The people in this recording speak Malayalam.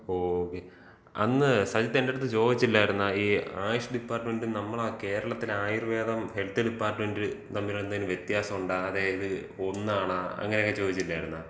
ഓ, അന്ന് സജിത്ത് എന്തെട്ത്ത് ചോദിച്ചില്ലായിരുന്നോ, ഈ ആയുഷ് ഡിപ്പാർട്ട്മെന്‍റ് നമ്മളെ കേരളത്തില് ആയുർവേദം ഹെൽത്ത് ഡിപ്പാർട്ട്മെന്‍റ് തമ്മില് എന്തെങ്കിലും വ്യത്യാസണ്ടോ, അതായത് ഒന്നാണോ അങ്ങനൊക്കെ ചോദിച്ചില്ലായിര്ന്നോ?